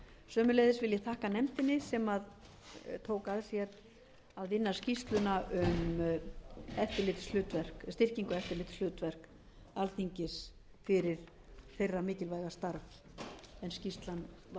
sömuleiðis vil ég þakka nefndinni sem tók að sér að vinna skýrsluna um styrkingu eftirlitshlutverk alþingis fyrir þeirra mikilvæga starf en skýrslan var lögð